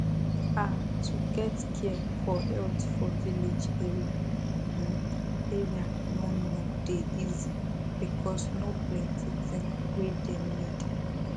ah to get care for health for village area hmm area no no dey easy because no plenti thing wey dem need